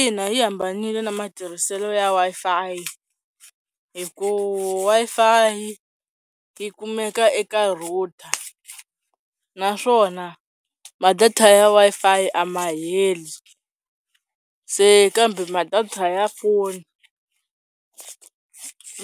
Ina yi hambanile na matirhiselo ya Wi-Fi hikuva Wi-Fi yi kumeka eka router naswona ma-data ya Wi-Fi a ma heli se kambe ma-data ya foni